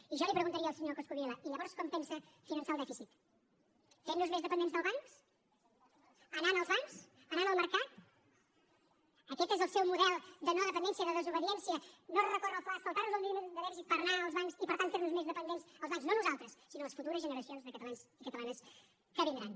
i jo li preguntaria al senyor coscubiela i llavors com pensa finançar el dèficit fent nos més dependents dels bancs anant als bancs anant al mercat aquest és el seu model de no dependència de desobediència no recórrer al fla saltar nos el límit de dèficit per anar als bancs i per tant fer nos més dependents dels bancs no a nosaltres sinó les futures generacions de catalans i catalanes que vindran